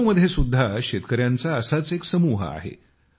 लखनौमध्ये सुद्धा शेतकऱ्यांचा असाच एक समूह आहे